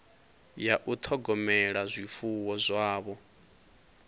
ya u ṱhogomela zwifuwo zwavho